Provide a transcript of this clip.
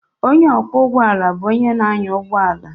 Onye ọkwọ ụgbọ ala bụ onye na-anya ụgbọ ala